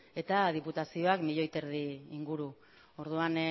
eta diputazioak milioi bat bostehun mila inguru orduan